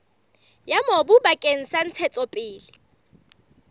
ya mobu bakeng sa ntshetsopele